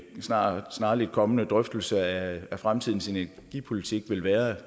snarlig snarlig kommende drøftelse af fremtidens energipolitik vil være at